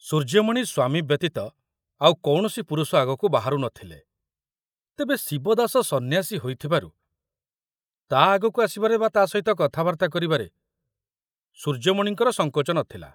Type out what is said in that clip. ସୂର୍ଯ୍ୟମଣି ସ୍ୱାମୀ ବ୍ୟତୀତ ଆଉ କୌଣସି ପୁରୁଷ ଆଗକୁ ବାହାରୁ ନ ଥିଲେ, ତେବେ ଶିବଦାସ ସନ୍ନ୍ୟାସୀ ହୋଇଥିବାରୁ ତା ଆଗକୁ ଆସିବାରେ ବା ତା ସହିତ କଥାବାର୍ତ୍ତା କରିବାରେ ସୂର୍ଯ୍ୟମଣିଙ୍କର ସଙ୍କୋଚ ନଥିଲା।